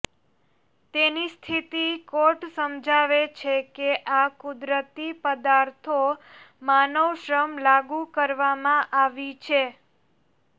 તેની સ્થિતિ કોર્ટ સમજાવે છે કે આ કુદરતી પદાર્થો માનવ શ્રમ લાગુ કરવામાં આવી છે